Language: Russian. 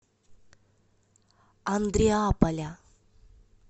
андреаполя